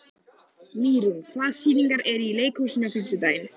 Mýrún, hvaða sýningar eru í leikhúsinu á fimmtudaginn?